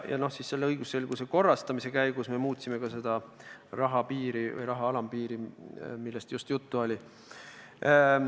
Ja õigusselguse korrastamise käigus me muutsime ka seda raha alampiiri, millest just juttu oli.